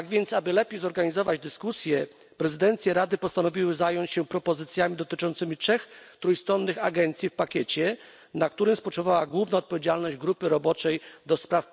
Aby lepiej zorganizować dyskusje, prezydencje Rady postanowiły zająć się propozycjami dotyczącymi trzech trójstronnych agencji w pakiecie, który był głównym przedmiotem odpowiedzialności grupy roboczej ds.